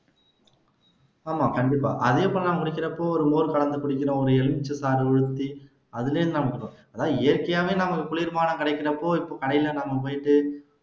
ஆமா கண்டிப்பா குடிக்கிறப்போ ஒரு மோர் சாதத்தை குடிக்கிறோம் ஒரு எலுமிச்சை சாறு பிழிஞ்சு அதுலயே இயற்க்கையாவே நமக்கு குளிர் பானம் கிடைக்கிறப்போ இப்ப கடைல நம்ம போயிட்டு